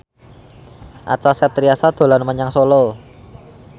Acha Septriasa dolan menyang Solo